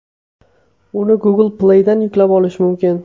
Uni Google Play’dan yuklab olish mumkin.